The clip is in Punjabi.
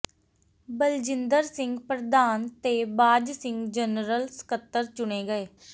ਬਲਵਿੰਦਰ ਸਿੰਘ ਪ੍ਰਧਾਨ ਤੇ ਬਾਜ ਸਿੰਘ ਜਨਰਲ ਸਕੱਤਰ ਚੁਣੇ ਗਏ